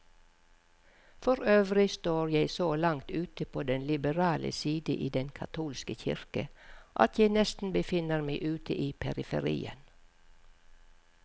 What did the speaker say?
Forøvrig står jeg så langt ute på den liberale side i den katolske kirke, at jeg nesten befinner meg ute i periferien.